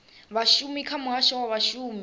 vhashumi kha muhasho wa vhashumi